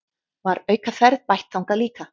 Var aukaferð bætt þangað líka